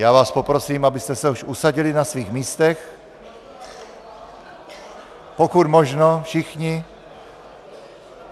Já vás poprosím, abyste se už usadili na svých místech, pokud možno všichni.